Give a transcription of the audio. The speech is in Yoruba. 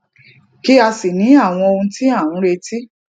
kí a sì ní àwọn ohun tí a ń retí